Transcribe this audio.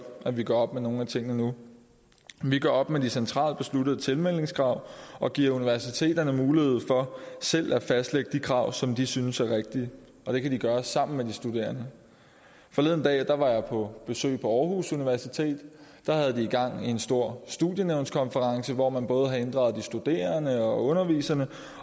at vi gør op med nogle af tingene nu vi gør op med de centralt besluttede tilmeldingskrav og giver universiteterne mulighed for selv at fastlægge de krav som de synes er rigtige og det kan de gøre sammen med de studerende forleden dag var jeg på besøg på aarhus universitet der havde de gang i en stor studienævnskonference hvor man både havde inddraget de studerende og underviserne